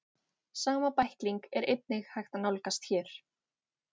sama bækling er einnig hægt að nálgast hér